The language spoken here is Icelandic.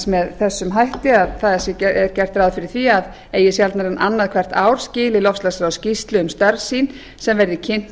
með þeim hætti að það sé gert ráð fyrir að eigi sjaldnar en annað hvert ár skili loftslagsráð skýrslu um störf sín sem verði kynnt